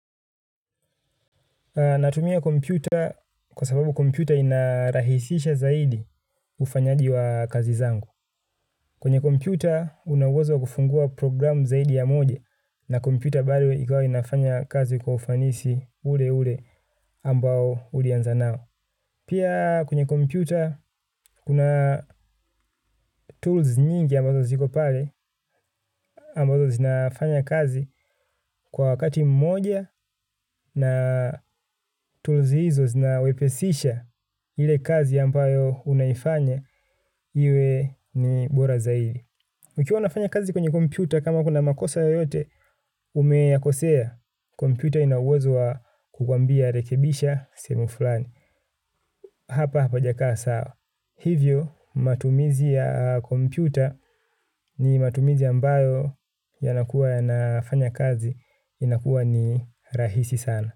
Natumia kompyuta kwa sababu kompyuta inarahisisha zaidi ufanyaji wa kazi zangu. Kwenye kompyuta, una uwezo kufungua programu zaidi ya moja na kompyuta bado ikawa inafanya kazi kwa ufanisi ule ule ambao ulianza nao. Pia kwenye kompyuta, kuna tools nyingi ambazo zikopale, ambazo zinafanya kazi kwa wakati mmoja na tools hizo zinawepesisha ili kazi ampayo unaifanya, iwe ni bora zaidi. Ukiwa wanafanya kazi kwenye kompyuta, kama kuna makosa yoyote, umeyakosea, kompyuta ina uwezo wa kukwambia rekebisha sehemu fulani. Hivyo matumizi ya kompyuta ni matumizi ambayo yanakua ya nafanya kazi inakua ni rahisi sana.